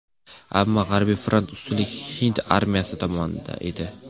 Ammo g‘arbiy frontda ustunlik hind armiyasi tomonida edi.